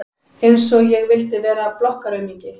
Einsog ég vildi vera blokkaraaumingi!